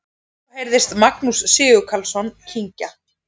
Svo heyrðist Magnús Sigurkarlsson kyngja.